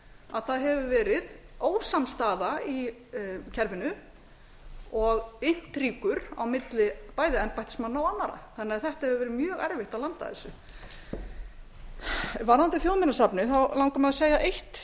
að það hefur verið ósamstaða í kerfinu og impringur á milli bæði embættismanna og annarra þannig að þetta hefur verið mjög erfitt að landa þessu varðandi þjóðminjasafnið langar mig að segja eitt